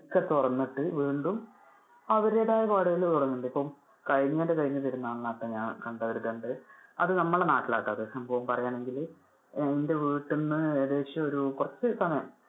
ക്കെ തുറന്നിട്ട്, വീണ്ടും അവരുടേതായതുടങ്ങുന്നുണ്ട്. ഇപ്പൊ കഴിഞ്ഞേന്‍ടെ കഴിഞ്ഞ പെരുന്നാളിന് ഞാൻ കണ്ടൊരു ഇത് ഉണ്ട്. അത് നമ്മളുടെ നാട്ടിൽ ആട്ടോ അത്. ഇപ്പൊ പറയേണെങ്കിൽ ആഹ് എന്‍ടെ വീട്ടിൽ നിന്ന് ഏകദേശം ഒരു കുറച്ചു സമയം